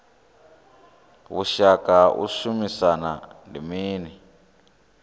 vhushaka ha u shumisana ndi mini